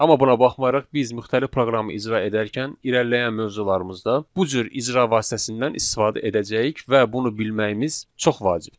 Amma buna baxmayaraq, biz müxtəlif proqramı icra edərkən irəliləyən mövzularımızda bu cür icra vasitəsindən istifadə edəcəyik və bunu bilməyimiz çox vacibdir.